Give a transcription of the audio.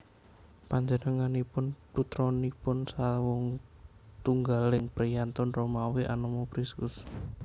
Panjenenganipun putranipun sawtunggaling priyantun Romawi anama Priscus